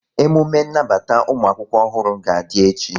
Emume nnabata ụmụakwụkwọ ọhụrụ ga-adị echi